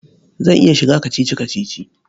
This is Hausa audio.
Zan iya shiga kacici-kacici.